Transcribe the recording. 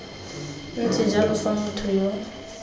ntse jalo fa motho yo